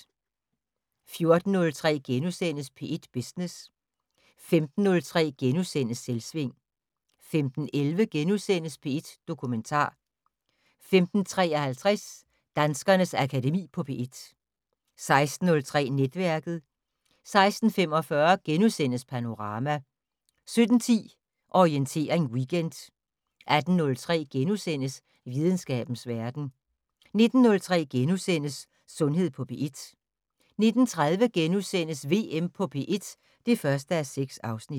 14:03: P1 Business * 15:03: Selvsving * 15:11: P1 Dokumentar * 15:53: Danskernes Akademi på P1 16:03: Netværket 16:45: Panorama * 17:10: Orientering Weekend 18:03: Videnskabens Verden * 19:03: Sundhed på P1 * 19:30: VM på P1 (1:6)*